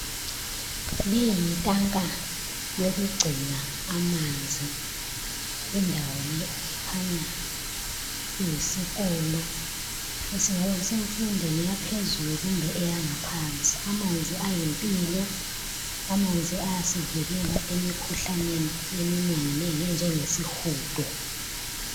Leyi yitanka yokugcina amanzi. Lindawo le ikhanya kuyisikolo esingabe kusemfundweni yaphezulu kumbe eyangaphansi. Amanzi ayimpilo, amanzi ayasivikela emkhuhlaneni eminenginengi enjengesihudo.